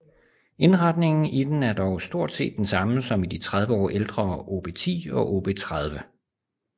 Indretningen i den er dog stort set den samme som i de 30 år ældre OB 10 og OB 30